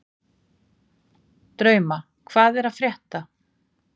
Drauma, hvað er að frétta?